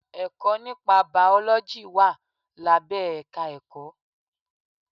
Ẹ̀kọ́ nípa bàọ́lọ́jì wà lábẹ́ èka Ẹ̀kọ́.